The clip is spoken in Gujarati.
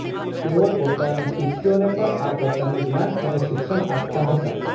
તેઓ પોતાના શિષ્યોને પણ આ પ્રકારનું જ્ઞાન અને શિક્ષણ આપતા હતા